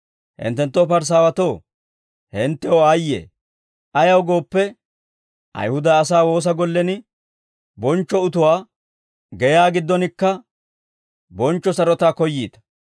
«Hinttenttoo Parisaawatoo, hinttew aayye! Ayaw gooppe, Ayihuda asaa woosa gollen bonchcho utuwaa, geyaa giddonkka bonchcho sarotaa koyyiita.